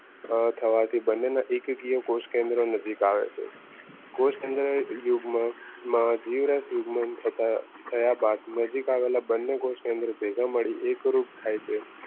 થવાથી બંનેના એક એક કોષીય કોષકેન્દ્ર નજીક આવે છે. કોષકેન્દ્ર યુગમાં જીવરસ યુગમાં તથા થયા બાદ નજીક આવેલા બંને કોષ કેન્દ્ર ભેગા મળી એક રૂપ થાય છે.